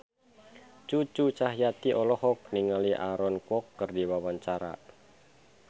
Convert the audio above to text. Cucu Cahyati olohok ningali Aaron Kwok keur diwawancara